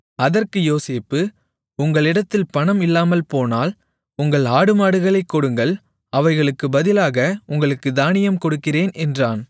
அதற்கு யோசேப்பு உங்களிடத்தில் பணம் இல்லாமல்போனால் உங்கள் ஆடுமாடுகளைக் கொடுங்கள் அவைகளுக்குப் பதிலாக உங்களுக்குத் தானியம் கொடுக்கிறேன் என்றான்